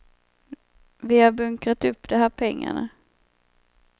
Vi har bunkrat upp de här pengarna.